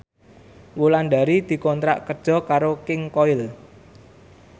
Wulandari dikontrak kerja karo King Koil